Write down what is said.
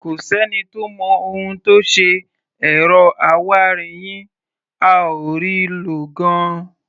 Kò sẹ́ni tó mọ ohun tó ṣe ẹ̀rọ awáirin yín, a ò rí i lò gan-an.